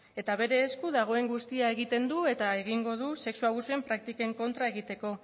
eta bere esku dagoen guztia egiten du eta egingo du sexu abusuen praktiken kontra egiteko